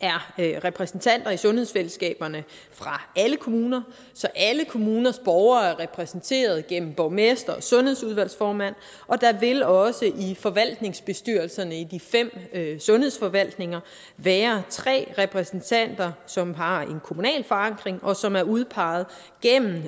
er repræsentanter i sundhedsfællesskaberne fra alle kommuner så alle kommuners borgere er repræsenteret gennem borgmesteren og sundhedsudvalgsformanden og der vil også i forvaltningsbestyrelserne i de fem sundhedsforvaltninger været tre repræsentanter som har en kommunal forankring og som er udpeget gennem